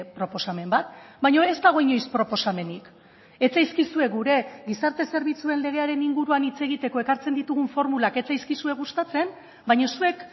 proposamen bat baina ez dago inoiz proposamenik ez zaizkizue gure gizarte zerbitzuen legearen inguruan hitz egiteko ekartzen ditugun formulak ez zaizkizue gustatzen baina zuek